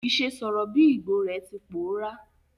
Ìse sọ̀rọ̀ bi Igbo re ti pòórá